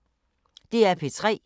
DR P3